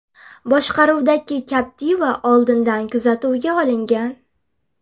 boshqaruvidagi Captiva oldindan kuzatuvga olingan.